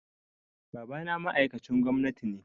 Babana ma'aikacin gwamnati ne.